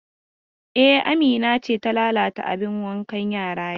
E, Amina ce ta lalata abin wanka yara yau.